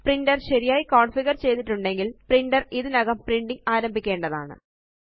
printer ശരിയായി configure ചെയ്തിട്ടുണ്ടെങ്കില് printer ഇതിനകം പ്രിന്റിംഗ് ആരംഭിക്കേണ്ടതാണ്